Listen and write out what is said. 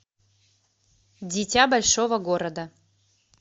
дитя большого города